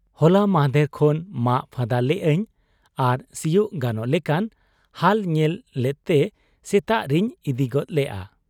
ᱦᱚᱞᱟ ᱢᱟᱸᱦᱫᱮᱨ ᱠᱷᱚᱱ ᱢᱟᱜ ᱯᱷᱟᱫᱟ ᱞᱮᱜ ᱟᱹᱧ ᱟᱨ ᱥᱤᱭᱩᱜ ᱜᱟᱱᱚᱜ ᱞᱮᱠᱟᱱ ᱦᱟᱞ ᱧᱮᱞ ᱞᱮᱫᱛᱮ ᱥᱮᱛᱟᱜ ᱨᱤᱧ ᱤᱫᱤ ᱜᱚᱫ ᱞᱮᱜ ᱟ ᱾